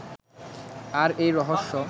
আর এই রহস্য